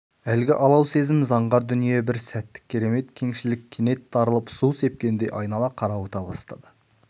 әлгі алау сезім заңғар дүние бір сәттік керемет кеңшілік кенет тарылып су сепкендей айнала қарауыта бастады